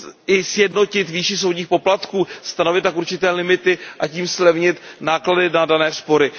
i sjednotit výši soudních poplatků, stanovit tak určité limity a tím zlevnit náklady na dané spory.